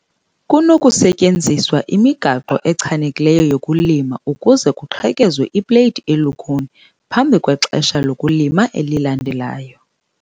Kunokusetyenziswa imigaqo echanekileyo yokulima ukuze kuqhekezwe ipleyiti elukhuni phambi kwexesha lokulima elilandelayo.